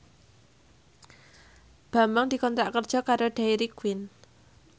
Bambang dikontrak kerja karo Dairy Queen